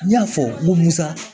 N y'a fɔ n ko musa